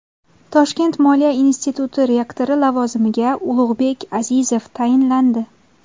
Toshkent moliya instituti rektori lavozimiga Ulug‘bek Azizov tayinlandi.